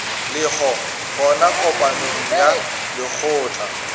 lego gona kopanong ya lekgotla